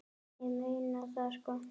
Ég meina það, sko.